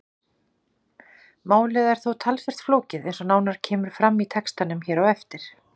Málið er þó talsvert flókið eins og nánar kemur fram í textanum hér á eftir.